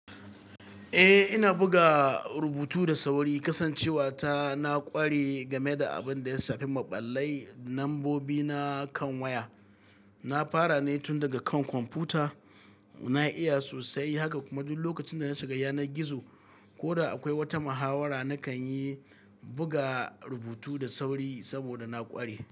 Eh ina buga rubutu da sauri, kasancewa ta na ƙware game da abin da ya shafi maɓallai da lambobi na kan waya. Na fara ne tun daga kan kwamfuta. Na iya sosai haka kuma duk lokacin da na shiga yanar gizo. Ko da akwai wata mahawara, nakan yi buga rubutu da sauri saboda na ƙware.